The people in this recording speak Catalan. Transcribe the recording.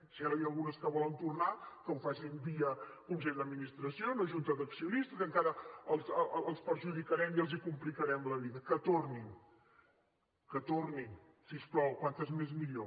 si ara n’hi ha algunes que volen tornar que ho facin via consell d’administració o junta d’accionistes encara els perjudicarem i els complicarem la vida que tornin que tornin si us plau quantes més millor